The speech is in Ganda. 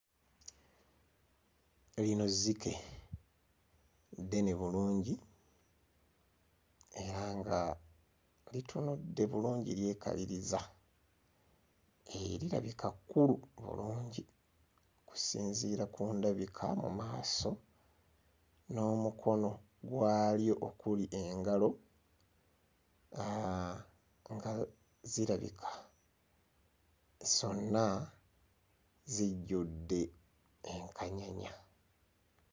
Lino zzike. Ddene bulungi era nga litunudde bulungi lyekaliriza. Eee lirabika kkulu bulungi okusinziira ku ndabika mu maaso n'omukono gwalyo okuli engalo aaa ngalo zirabika zonna zijjudde enkanyanya.